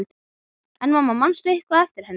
En mamma, manstu eitthvað eftir henni?